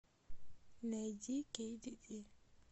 найди кейдиди